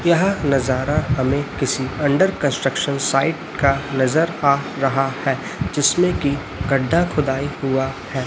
यह नजारा हमें किसी अंडर कंस्ट्रक्शन साइट का नजर आ रहा है जिसमें की गड्ढा खुदाई हुआ है।